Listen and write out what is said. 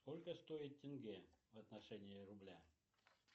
сколько стоит тенге в отношении рубля